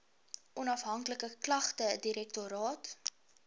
onafhanklike klagtedirektoraat